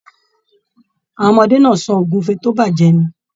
Àwọn ọmọdé náà sọ ogúnfe to bajẹ ni.